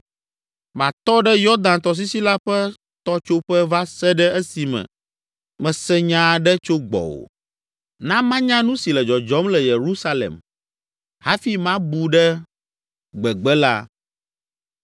Matɔ ɖe Yɔdan tɔsisi la ƒe tɔtsoƒe va se ɖe esime mese nya aɖe tso gbɔwò. Na manya nu si le dzɔdzɔm le Yerusalem hafi mabu ɖe gbegbe la.”